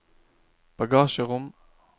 bagasjerom